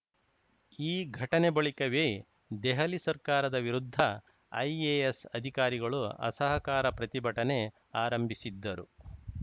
ಈ ಘಟನೆ ಬಳಿಕವೇ ದೆಹಲಿ ಸರ್ಕಾರದ ವಿರುದ್ಧ ಐಎಎಸ್‌ ಅಧಿಕಾರಿಗಳು ಅಸಹಕಾರ ಪ್ರತಿಭಟನೆ ಆರಂಭಿಸಿದ್ದರು